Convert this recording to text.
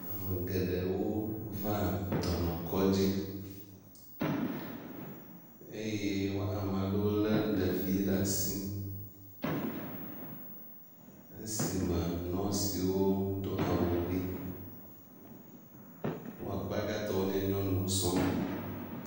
Ame geɖewo va dɔnɔkɔdzi eye wo ame aɖewo lé ɖevi ɖe asi esime nɔsiwo do awu ʋi. Wo akpa gãtɔ wonye nyɔnuwo.